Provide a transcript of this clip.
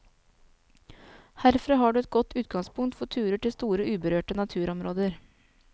Herfra har du et godt utgangspunkt for turer til store uberørte naturområder.